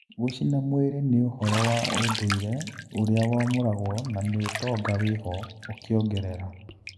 Gũcina mwĩri nĩũhoro wa ũndũire ũrĩa wamũragwo na nĩũtonga wĩho," ũkĩongerera.